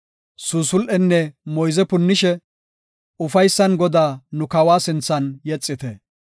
Suusul7enne moyze punnishe, ufaysan Godaa nu kawa sinthan yexite.